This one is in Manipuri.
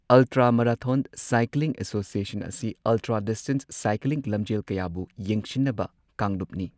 ꯑꯜꯇ꯭ꯔꯥ ꯃꯔꯥꯊꯣꯟ ꯁꯥꯏꯀ꯭ꯂꯤꯡ ꯑꯦꯁꯣꯁꯤꯑꯦꯁꯟ ꯑꯁꯤ ꯑꯜꯇ꯭ꯔꯥ ꯗꯤꯁꯇꯦꯟꯁ ꯁꯥꯏꯀ꯭ꯂꯤꯡ ꯂꯝꯖꯦꯜ ꯀꯌꯥꯕꯨ ꯌꯦꯡꯁꯤꯟꯅꯕ ꯀꯥꯡꯂꯨꯞꯅꯤ꯫